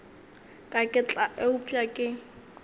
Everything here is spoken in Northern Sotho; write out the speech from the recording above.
ka ke tla upša ke